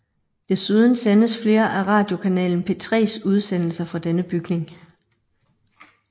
Desuden sendes flere af radiokanalen P3s udsendelser fra denne bygning